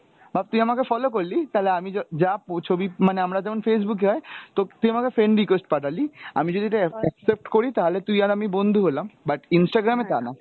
ভাব তুই আমাকে follow করলি, তালে আমি য~ যা পো~ ছবি, মানে আমরা যেমন Facebook এ হয় তো তুই আমাকে friend request পাঠালি, আমি যদি ওটা এক~ accept করি তাহলে তুই আর আমি বন্ধু হলাম but Instagram এ তা না।